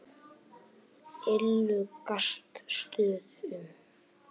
Illugastöðum